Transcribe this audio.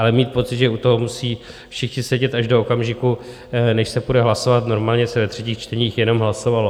Ale mít pocit, že u toho musí všichni sedět až do okamžiku, než se půjde hlasovat, normálně se ve třetích čteních jenom hlasovalo.